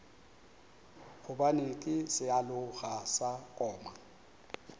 gobane ke sealoga sa koma